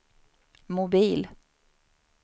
mobil